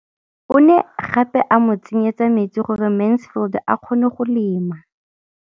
O ne gape a mo tsenyetsa metsi gore Mansfield a kgone go lema.